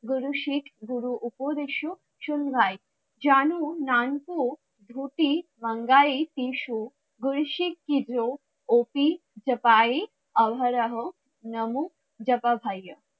গুরু শিখ গুরু উপদেশ, সুন ভাই জানু নানখু ধ্রুতি বাঙ্গাই অহরহ নম জ্প